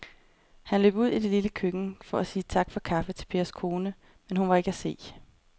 Han løb ud i det lille køkken for at sige tak for kaffe til Pers kone, men hun var ikke til at se.